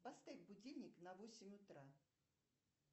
поставь будильник на восемь утра